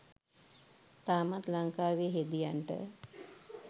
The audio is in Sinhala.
තාමත් ලංකාවේ හෙදියන්ට